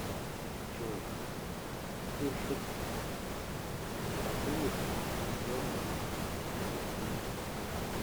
джой хуршид расулов джон синглим